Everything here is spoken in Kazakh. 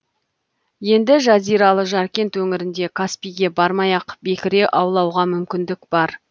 енді жазиралы жаркент өңірінде каспийге бармай ақ бекіре аулауға мүмкіндік бар